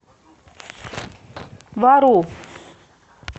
вару